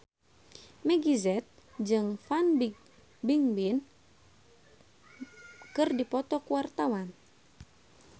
Meggie Z jeung Fan Bingbing keur dipoto ku wartawan